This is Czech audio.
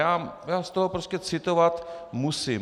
Já z toho prostě citovat musím.